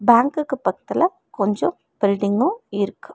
பேங்குக்கு பக்கத்துல கொஞ்சோ பில்டிங்கு இருக்கு.